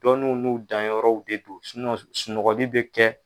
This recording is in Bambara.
Dɔnw n'u danyɔrɔw de don sunɔgɔli bɛ kɛ.